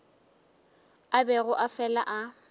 a bego a fela a